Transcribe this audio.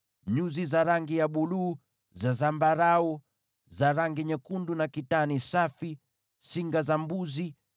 nyuzi za rangi ya buluu, za zambarau, za rangi nyekundu na kitani safi; singa za mbuzi;